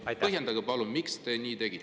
Palun põhjendage, miks te nii tegite.